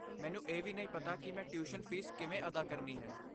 ਮੈਨੂੰ ਇਹ ਵੀ ਨਹੀਂ ਪਤਾ ਕਿ ਮੈਂ ਟਿਊਸ਼ਨ ਫੀਸ ਕਿਵੇਂ ਅਦਾ ਕਰਨੀ ਹੈ।